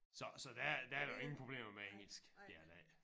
Så så der der er der jo ingen problemer med engelsk det er der ikke